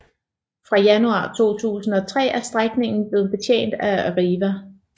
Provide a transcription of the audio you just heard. Fra januar 2003 er strækningen blevet betjent af Arriva